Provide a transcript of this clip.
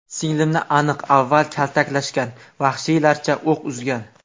Singlimni aniq avval kaltaklashgan, vahshiylarcha o‘q uzgan.